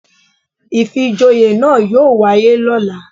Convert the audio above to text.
Ìfijoyè náà yóò wáyé lóla